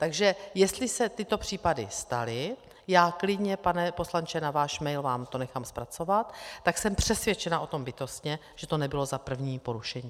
Takže jestli se tyto případy staly, já klidně, pane poslanče, na váš mail vám to nechám zpracovat, tak jsem přesvědčena o tom bytostně, že to nebylo za první porušení.